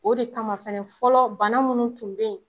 O de kama fɛnɛ fɔlɔ bana munnu tun be yen